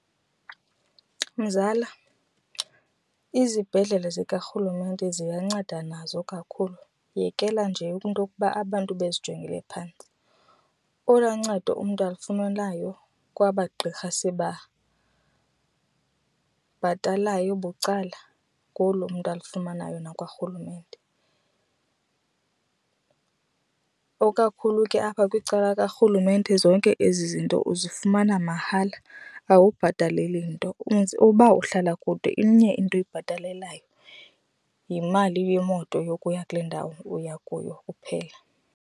Mzala, izibhedlele zikarhulumente ziyanceda nazo kakhulu yekela nje into okuba abantu bezijongele phantsi. Olwa ncedo umntu alifunayo kwaba gqirha sibabhatalayo bucala ngolu umntu olufumanayo nakwarhulumente. Okakhulu ke apha kwicala likarhulumente zonke ezi into uzifumana mahala awubhataleli nto . Uba uhlala kude inye into oyibhatalelayo, yimali yemoto yokuya kule ndawo uya kuyo kuphela.